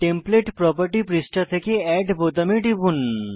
template property পৃষ্ঠা থেকে add বোতামে টিপুন